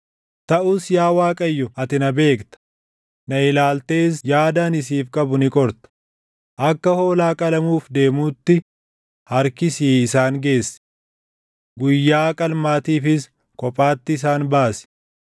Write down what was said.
Taʼus yaa Waaqayyo ati na beekta; na ilaaltees yaada ani siif qabu ni qorta. Akka hoolaa qalamuuf deemuutti // harkisii isaan geessi! Guyyaa qalmaatiifis kophaatti isaan baasi!